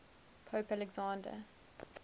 pope alexander